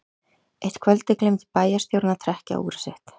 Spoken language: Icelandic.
Eitt kvöldið gleymdi bæjarstjórinn að trekkja úrið sitt.